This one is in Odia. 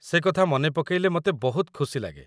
ସେ କଥା ମନେ ପକେଇଲେ ମୋତେ ବହୁତ ଖୁସି ଲାଗେ।